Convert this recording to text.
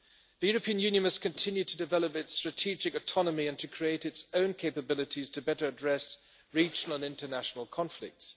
The European Union must continue to develop its strategic autonomy and to create its own capabilities to better address regional and international conflicts.